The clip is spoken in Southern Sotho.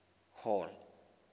hall